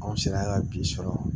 Anw sera ka bi sɔrɔ